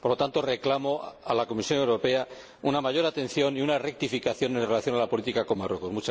Por lo tanto, reclamo a la Comisión Europea una mayor atención y una rectificación en relación con la política sobre Marruecos.